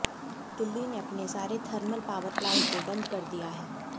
दिल्ली ने अपने सारे थर्मल पावर प्लांट को बंद कर दिया है